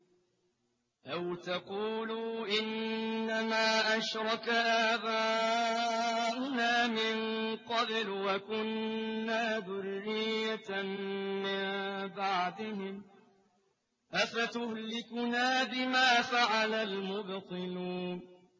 أَوْ تَقُولُوا إِنَّمَا أَشْرَكَ آبَاؤُنَا مِن قَبْلُ وَكُنَّا ذُرِّيَّةً مِّن بَعْدِهِمْ ۖ أَفَتُهْلِكُنَا بِمَا فَعَلَ الْمُبْطِلُونَ